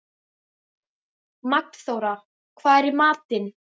Magnþóra, hvað er í matinn?